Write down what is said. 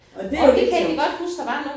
Og det jo lidt sjovt